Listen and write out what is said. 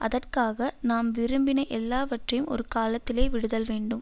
அதற்காகத் நாம் விரும்பின எல்லாவற்றையும் ஒரு காலத்திலே விடுதல் வேண்டும்